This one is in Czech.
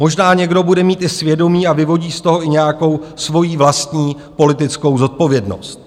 Možná někdo bude mít i svědomí a vyvodí z toho i nějakou svou vlastní politickou zodpovědnost.